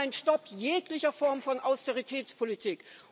Wir brauchen ein Stopp jeglicher Form von Austeritätspolitik.